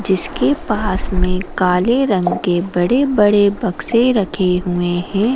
जिसके पास में काले रंग के बड़े-बड़े बक्से रखे हुए हैं।